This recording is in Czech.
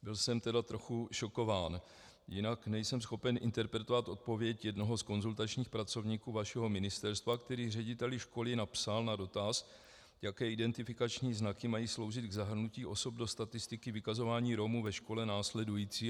Byl jsem tedy trochu šokován, jinak nejsem schopen interpretovat odpověď jednoho z konzultačních pracovníků vašeho ministerstva, který řediteli školy napsal na dotaz, jaké identifikační znaky mají sloužit k zahrnutí osob do statistiky vykazování Romů ve školách následující.